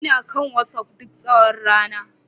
Ina kan WhatsApp duk tsawon rana